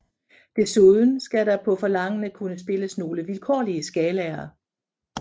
Desuden skal der på forlangende kunne spilles nogle vilkårlige skalaer